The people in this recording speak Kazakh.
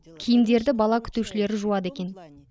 киімдерді бала күтушілері жуады екен